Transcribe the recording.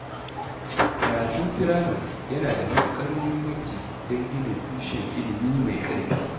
Karatun firamare yana da matuƙar muhimmanci don gina tushen ilimi mai ƙarfi.